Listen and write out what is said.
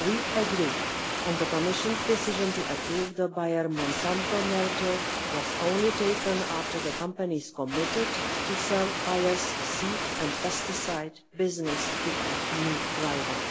We agree and the Commission's decision to approve the Bayer-Monsanto merger was taken only after the companies committed to sell Bayer's seed and pesticide business to a new rival